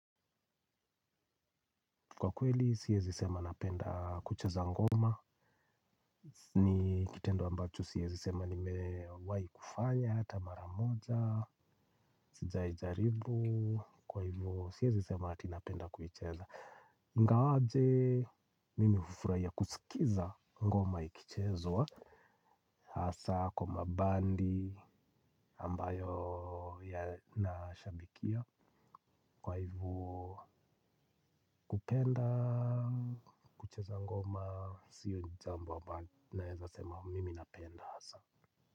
Kwa kweli siezi sema napenda kucheza ngoma ni kitendo ambacho siezi sema nimewai kufanya hata maramoja sijai jaribu kwa hivuo siezi sema ati napenda kuicheza ingawaje mimi hufuraya kusikiza ngoma ikichezwa hasa kwa mabandi ambayo yanashabikia kwa hivo kupenda, kucheza ngoma, siyo jambo ambalo naeza sema mimi napenda hasa.